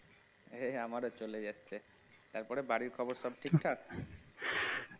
এই আমারও চলে যাচ্ছে তারপরে বাড়ির খবর সব ঠিকঠাক?